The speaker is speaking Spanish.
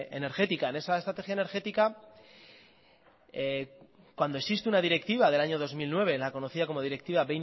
energética en esa estrategia energética cuando existe una directiva del año dos mil nueve la conocida como directiva